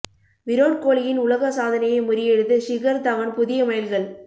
விராட் கோலியின் உலக சாதனையை முறியடித்து ஷிகர் தவண் புதிய மைல்கல்